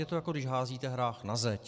Je to, jako když házíte hrách na zeď.